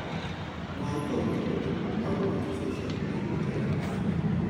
Mwae kaunty kole makomeche sosion eng ngecheret.